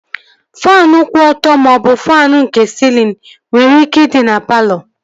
Faanụ kwụ ọtọ maọbụ faanụ nke sịlịn nwere ike ịdị na palọ